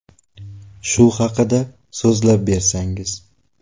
Shu haqida so‘zlab bersangiz.